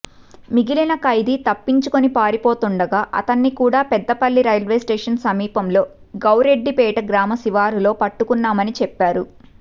మిగిలిన ఖైదీ తప్పించుకొని పారిపోతుండగా అతన్ని కూడా పెద్దపల్లి రైల్వేస్టేషన్ సమీపంలో గౌరెడ్డిపేట గ్రామ శివారులో పట్టుకున్నామని చెప్పా రు